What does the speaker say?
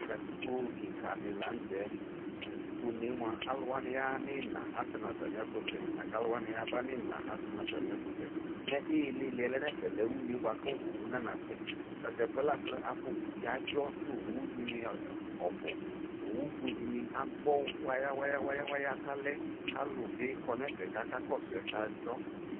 Katikpo kika de lantɛKatikpone moa alu wane yaha no ina Asɛ no atane ɛfosɛ la ko alu wane aya no imla asɛ no atane afosɛ Me ileleɛ lɛ une boako owu nanaa sɛ Tato ɛfuɛ la ko afɔku de adzɔ no owu de ne ɔbu Owu fue de ne agbɔ wayawaya, ka lɛ ko alu be kɔ no ɛfɛ kaka kɔso asɛ ko adzɔ